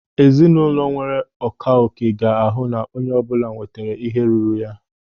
Ezinụlọ enwere akaòké ga-ahụ na onye ọbụla nwetere ihe ruru ya.